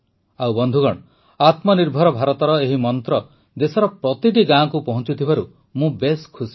ଆଉ ବନ୍ଧୁଗଣ ଆତ୍ମନିର୍ଭର ଭାରତର ଏହି ମନ୍ତ୍ର ଦେଶର ପ୍ରତିଟି ଗାଁକୁ ପହଞ୍ଚୁଥିବାରୁ ମୁଁ ଖୁସି